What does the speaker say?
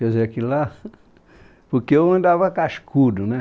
Quer dizer, que lá... Porque eu andava cascudo, né?